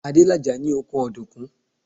Adélàjà ní oko ọ̀dùnkún.